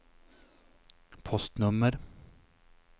postnummer